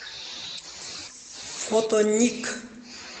фото ник